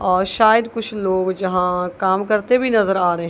और शायद कुछ लोग जहां काम करते भी नजर आ रहे--